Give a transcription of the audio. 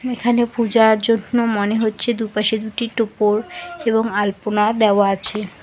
এখানে পূজার জন্য মনে হচ্ছে দুপাশে দুটি টোপর এবং আলপনা দেওয়া আছে।